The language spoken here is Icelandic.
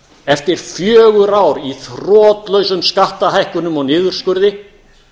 eftir fjögur ár í þrotlausum skattahækkunum og niðurskurði